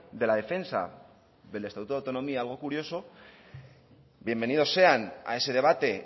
de la defensa del estatuto de autonomía algo curioso bienvenidos sean a ese debate